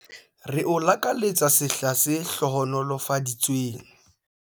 Re o lakaletsa sehla se hlohonolofaditsweng!